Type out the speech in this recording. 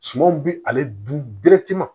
Sumanw bɛ ale dun